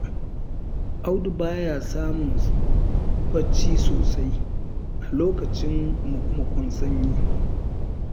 Audu ba ya samun bacci sosai a lokacin muku-mukun sanyi.